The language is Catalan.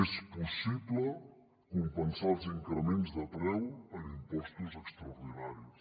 és possible compensar els increments de preu amb impostos extraordinaris